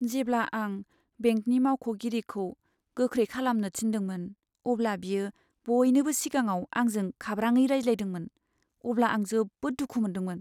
जेब्ला आं बेंकनि मावख'गिरिखौ गोख्रै खालामनो थिनदोंमोन अब्ला बियो बयनिबो सिगाङाव आंजों खाब्राङै रायज्लायदोंमोन, अब्ला आं जोबोद दुखु मोनदोंमोन।